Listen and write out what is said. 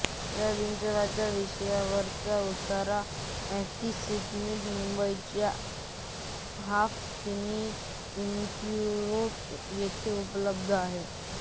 या विंचवाच्या विषावरचा उतारा अँटीसिरम मुंबईच्या हाफकिन इन्स्टिट्यूट येथे उपलब्ध आहे